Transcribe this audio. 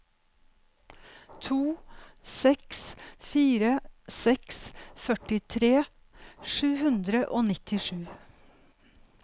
to seks fire seks førtitre sju hundre og nittisju